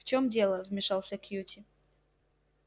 в чём дело вмешался кьюти